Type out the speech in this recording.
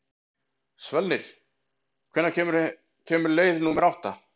Svölnir, hvenær kemur leið númer átta?